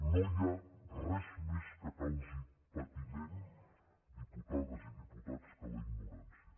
no hi ha res més que causi patiment diputades i diputats que la ignorància